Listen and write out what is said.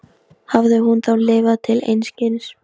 Hafði hún þá lifað til einskis?